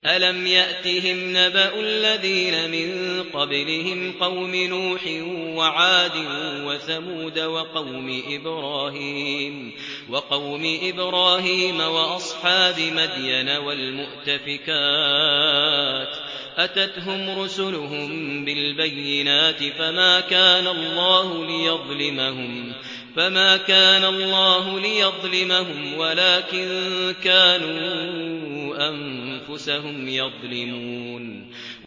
أَلَمْ يَأْتِهِمْ نَبَأُ الَّذِينَ مِن قَبْلِهِمْ قَوْمِ نُوحٍ وَعَادٍ وَثَمُودَ وَقَوْمِ إِبْرَاهِيمَ وَأَصْحَابِ مَدْيَنَ وَالْمُؤْتَفِكَاتِ ۚ أَتَتْهُمْ رُسُلُهُم بِالْبَيِّنَاتِ ۖ فَمَا كَانَ اللَّهُ لِيَظْلِمَهُمْ وَلَٰكِن كَانُوا أَنفُسَهُمْ يَظْلِمُونَ